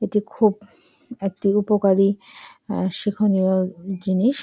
এটি খুব একটি উপকারী অ্যা শিখনীয় জিনিস।